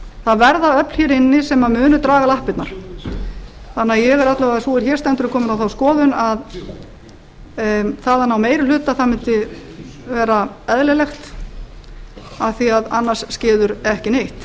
það verða öfl hér inni sem munu draga lappirnar þannig að sú er hér stendur er komin á þá skoðun að þaðan á meiri hluta það mundi vera eðlilegt af því að annars skeður ekki neitt